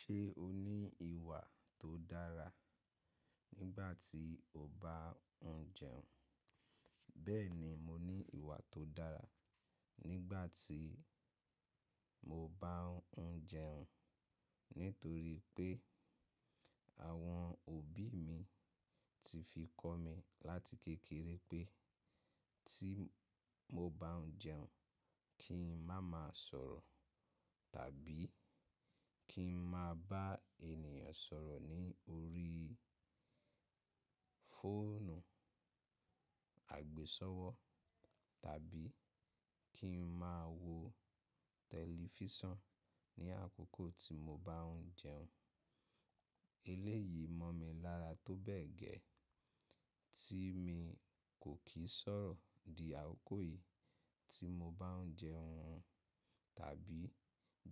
Ṣé o ní ìwà tó dára nígbà tí o bá ń jẹun? Bẹ́ẹ̀ni mo ní ìwà tó dára nígbà tí mo bá ń jẹun nítorí pé àwọn òbí mi ti fi kọ́ mi láti kékeré pé tí mo bá ń jẹun, kí n má máa sọ̀rọ̀ tàbí kí n má bá ènìyàn sọ̀rọ̀ ní orí fóònù àgbésọ́wọ́ tàbí kí n má wo tẹlifíṣàn ní àkókò tí mo bá ń jẹun. Eléyìí mọ̀ mi lára tó bẹ́ẹ̀ gẹ́, tí mi kò kì í sọ̀rọ̀ di àkókò yìí tí mo bá ń jẹun tàbí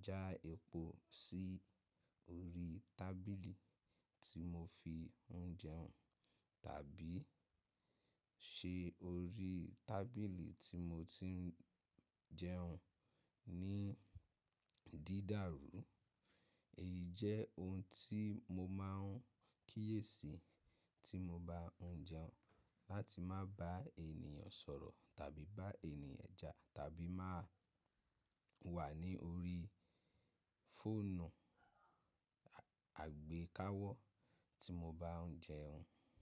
já epo sí orí tábìlì tí mo fi ń jẹun tàbí ṣe orí tábìlì tí mo ti ń jẹun ní dídàrú. Èyí jẹ́ ohun tí mo máa ń kíyèsi tí mo bá ń jẹun láti má bá ènìyàn sọ̀rọ̀ tàbí bá ènìyàn ja tàbí má wà ní orí fóònù àgbékáwọ́ tí mo bá ń jẹun.